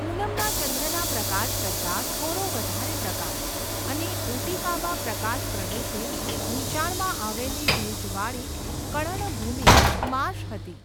પૂનમના ચંદ્રના પ્રકાશ કરતાં, થોડો વધારે પ્રકાશ, અને ઉટિકામાં પ્રકાશ પ્રદૂષિત, નીચાણમાં આવેલી ભેજવાળી કળણભૂમિ માર્શ હતી.